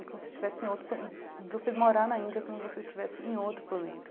É como se estivesse em outro... Você morar na Índia é como se você estivesse em outro planeta.